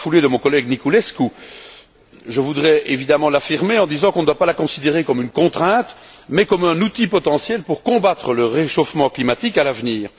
Dans la foulée de mon collègue Niculescu, je voudrais évidemment l'affirmer en disant qu'on ne doit pas la considérer comme une contrainte, mais comme un outil potentiel pour combattre le réchauffement climatique à l'avenir.